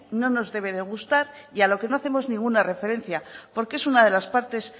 no nos debe de gustar y a lo que no hacemos ninguna referencia porque es una de las partes